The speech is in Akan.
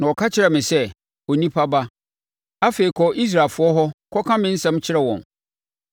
Na ɔka kyerɛɛ me sɛ, “Onipa ba, afei kɔ Israelfoɔ hɔ kɔka me nsɛm kyerɛ wɔn.